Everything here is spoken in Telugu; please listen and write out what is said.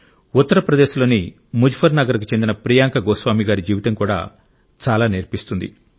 ఉత్తర ప్రదేశ్లోని ముజఫర్నగర్కు చెందిన ప్రియాంక గోస్వామి గారి జీవితం కూడా చాలా నేర్పిస్తుంది